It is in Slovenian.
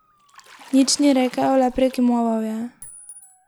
Nič ni rekel, le prikimaval je.